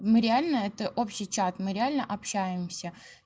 ну реально это общий чат мы реально общаемся